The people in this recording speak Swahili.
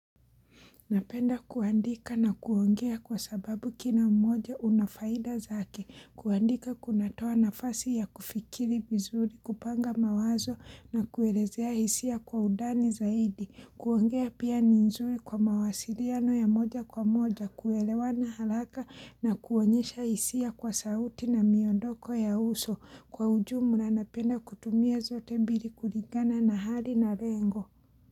Napenda kuandika na kuongea kwa sababu kila mmoja una faida zake, kuandika kunatoa nafasi ya kufikiri vizuri, kupanga mawazo na kuelezea hisia kwa undani zaidi, kuongea pia ni nzuri kwa mawasiliano ya moja kwa moja, kuelewa na haraka na kuonyesha hisia kwa sauti na miondoko ya uso, kwa ujumla napenda kutumia zote mbili kulingana na hali na lengo.